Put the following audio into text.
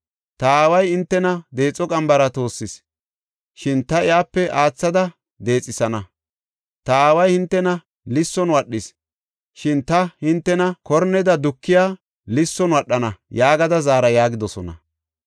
Ta aaway hintena deexo qambara toossis; shin ta iyape aathada deexethana. Ta aaway hintena lisson wadhis; shin ta hintena korneda dukiya lisson wadhana’ yaagada zaara” yaagidosona.